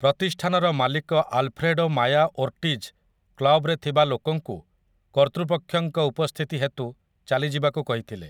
ପ୍ରତିଷ୍ଠାନର ମାଲିକ Alfredo Maya Ortiz କ୍ଲବ୍‌‌ରେ ଥିବା ଲୋକଙ୍କୁ କର୍ତ୍ତୃପକ୍ଷଙ୍କ ଉପସ୍ଥିତି ହେତୁ ଚାଲିଯିବାକୁ କହିଥିଲେ ।